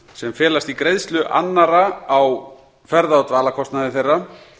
sem felast í greiðslu annarra á ferða og dvalarkostnaði þeirra